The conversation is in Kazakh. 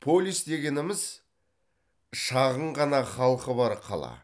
полис дегеніміз шағын ғана халқы бар қала